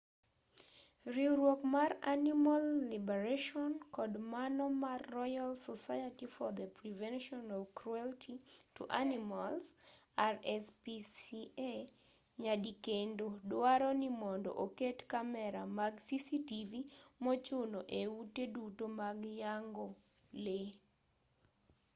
riwruok mar animal liberation kod mano mar royal society for the prevention of cruelty to animals rspca nyadikendo duaro ni mondo oket kamera mag cctv mochuno e ute duto mag yang'o lee